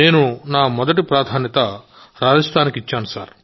నేను నా మొదటి ప్రాధాన్యత రాజస్థాన్కు ఇచ్చాను